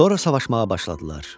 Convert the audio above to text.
Sonra savaşmağa başladılar.